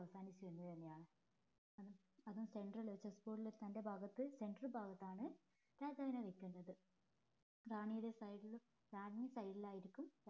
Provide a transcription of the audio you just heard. അവസാനിച്ചു കഴിഞ്ഞാൽ അവര് center ല് chessboard ലെ center ഭാഗത്ത് center ഭാഗത്താണ് രാജാവിനെ വെക്കേണ്ടത് റാണിയുടെ side ലും റാണി side ല് ആയിരിക്കും